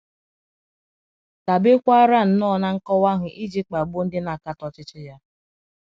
dabekwaara nnọọ ná nkọwa ahụ iji kpagbuo ndị na - akatọ ọchịchị ya.